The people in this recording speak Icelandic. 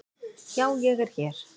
Já ég er hér.